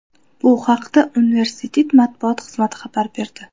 Bu haqda universitet matbuot xizmati xabar berdi .